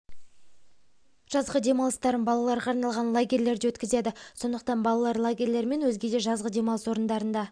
жазғы демалыстарын балаларға арналған лагерьлерде өткізеді сондықтан балалар лагерьлері мен өзге де жазғы демалыс орындарында